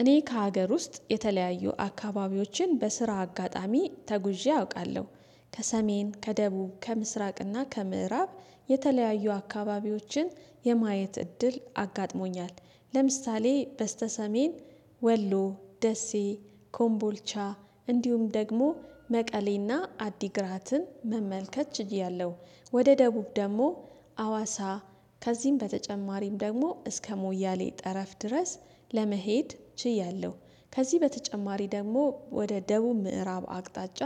እኔ ከሀገር ውስጥ የተለያዩ አካባቢዎችን በስራ አጋጣሚ ተጉዤ አውቃለሁ። ከሰሜን ከደቡብ ከምስራቅና ከምዕራብ የተለያዩ አካባቢዎችን የማየት እድል አጋጥሞኛል። ለምሳሌ በስተ ሰሜን ወሎ ደሴ ኮምቦልቻ እንዲሁም ደግሞ መቀሌና አዲግራትን መመልከት ችያለሁ። ወደ ደቡብ ደግሞ አዋሳ ከዚህም በተጨማሪም ደግሞ እስከ ሞያሌ ጠረፍ ድረስ ለመሄድ ችያለሁ። ከዚህ በተጨማሪ ደግሞ ወደ ደቡብ ምዕራብ አቅጣጫ